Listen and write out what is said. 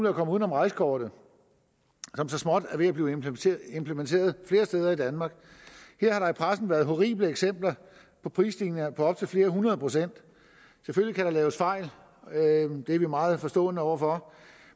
at komme uden om rejsekortet som så småt er ved at blive implementeret implementeret flere steder i danmark her har der i pressen været horrible eksempler på prisstigninger på op til flere hundrede procent selvfølgelig kan der laves fejl det er vi meget forstående over for